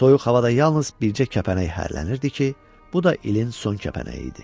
Soyuq havada yalnız bircə kəpənək hərlənirdi ki, bu da ilin son kəpənəyi idi.